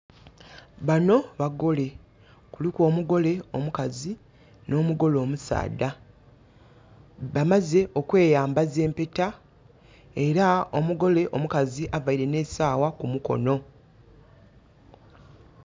Bano bagole. Kuliku omugole omukazi n'omugole omusaadha. Bamaze okweyambaza empeta, era omugole omukazi avaire n'esaawa kumukono.